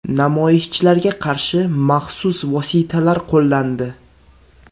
Namoyishchilarga qarshi maxsus vositalar qo‘llandi.